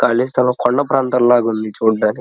కాలి స్థలం కొండా ప్రాంతం లాగ ఉంది చూడడానికి --